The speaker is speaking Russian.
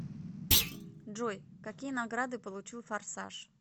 джой какие награды получил форсаж